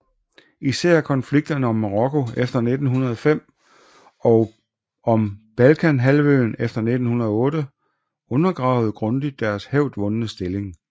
Især konflikterne om Marokko efter 1905 og om Balkanhalvøen efter 1908 undergravede grundigt deres hævdvundne stilling